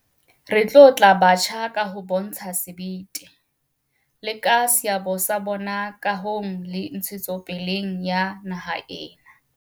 Re tlotla batjha ka ho bontsha sebete, le ka seabo sa bona kahong le ntshetsopeleng ya naha ena.